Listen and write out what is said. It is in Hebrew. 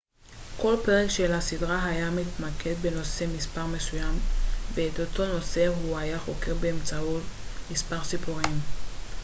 כל פרק של הסדרה היה מתמקד בנושא מספר מסוים ואת אותו נושא הוא היה חוקר באמצעות מספר סיפורים